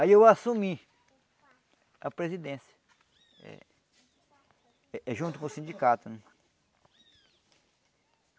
Aí eu assumi a presidência eh junto com o sindicato.